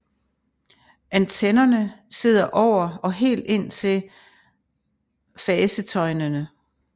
Antennerne sidder over og helt indtil fasetøjnene